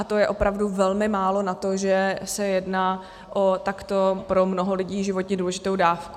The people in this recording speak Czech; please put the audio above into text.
A to je opravdu velmi málo na to, že se jedná o takto pro mnoho lidí životně důležitou dávku.